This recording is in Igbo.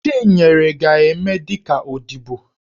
Chinyere ga-eme dị ka odibo.